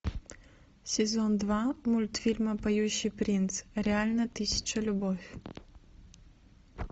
сезон два мультфильма поющий принц реально тысяча любовь